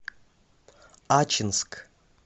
ачинск